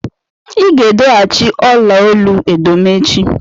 Ị ga-edo achi ọla olu edo m echi.